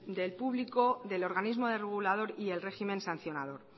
del público del organismo regulador y el régimen sancionador